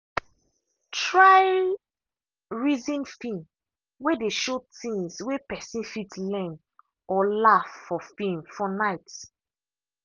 try reason film way dey show things way person fit learn or laugh for film for night.